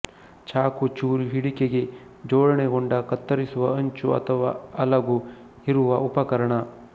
ಚಾಕು ಚೂರಿ ಹಿಡಿಕೆಗೆ ಜೋಡಣೆಗೊಂಡ ಕತ್ತರಿಸುವ ಅಂಚು ಅಥವಾ ಅಲಗು ಇರುವ ಉಪಕರಣ